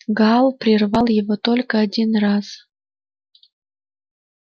гаал прервал его только один раз